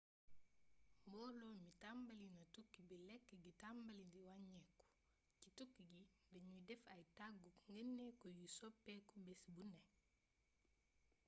mboolo bi tàmbalina tukki bi lékk gi tambalé wañéeku ci tukki gi dañuy def ay tagguk ndegeeniku yuy soppéeku bés bu né